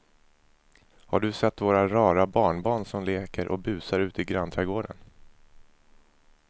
Har du sett våra rara barnbarn som leker och busar ute i grannträdgården!